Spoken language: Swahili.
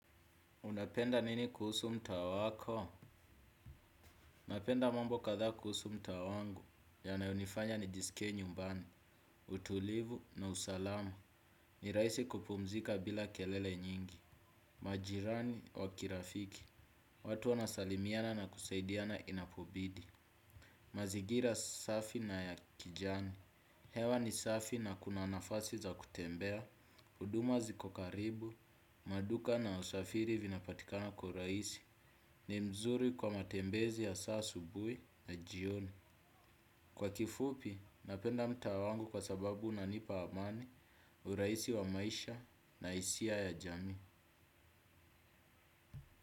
Unapenda nini kuhusu mtaa wako napenda mambo kadhaa kuhusu mtaa wangu. Yanaonifanya nijisikie nyumbani. Utulivu na usalama. Ni rahisi kupumzika bila kelele nyingi. Majirani wa kirafiki. Watu wanasalimiana na kusaidiana inapobidi. Mazingira safi na ya kijani. Hewa ni safi na kuna nafasi za kutembea. Huduma ziko karibu. Maduka na usafiri vinapatikana kwa urahisi. Ni mzuri kwa matembezi hasa asubuhi na jioni. Kwa kifupi, napenda mtaa wangu kwa sababu unanipa amani. Urahisi wa maisha na hisia ya jamii.